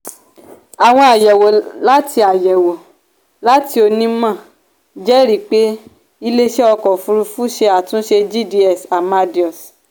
àwọn ayẹwo láti ayẹwo láti onímọ̀ jẹ́rìí pé iléeṣẹ́ ọkọ̀ òfurufú ṣe àtúnṣe gds amadeus.